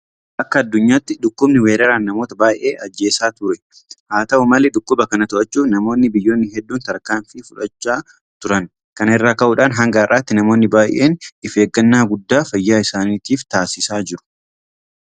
Akka addunyaatti dhukkubni weeraraan namoota baay'ee ajjeesaa ture. Haata'u malee dhukkuba kana to'achuudhaaf namoonni biyyoonni hedduun tarkaanfii fudhachaa turan. Kana irraa ka'uudhaan hanga har'aatti namoonni baay'een ifeeggannaa guddaa fayyaa isaaniitiif taasisaa jiru.